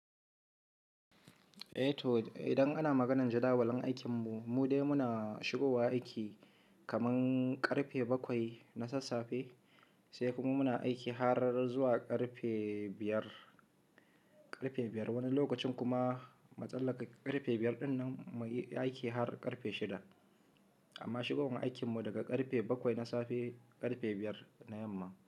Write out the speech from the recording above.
Eh to, idan ana maganar jadawalin aikinmu, mu dai muna shigowa aiki kaman ƙarfe bakwai na sassafe, sai kuma muna aiki har zuwa ƙarfe biyar, ƙarfe biyar. Wani lokacin kuma mutsallaka ƙarfe biyar ɗin nan muyi aiki har ƙarfe shida. Amma shigowan aikinmu daga ƙarfe bakwai na safe ƙarfe biyar na yamma.